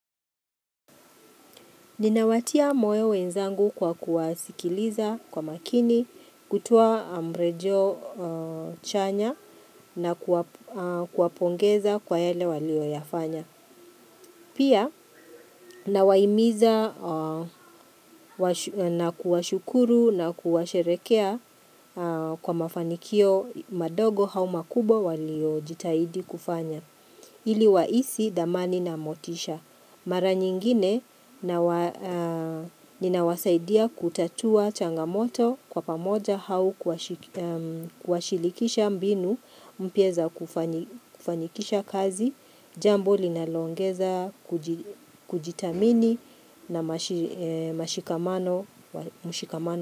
Ninawatia moyo wenzangu kwa kuwasikiliza kwa makini, kutoa mrejeo chanya na kuwapongeza kwa yale walioyafanya. Pia, nawahimiza na kuwashukuru na kuwasherekea kwa mafanikio madogo au makubwa walio jitahidi kufanya. Ili wahisi thamani na motisha. Mara nyingine ninawasaidia kutatua changamoto kwa pamoja au kuwashilikisha mbinu mpya za kufanikisha kazi, jambo linaloongeza kujithamini na mashikamano.